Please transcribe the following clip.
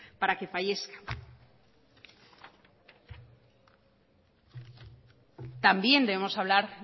para que fallezca también debemos hablar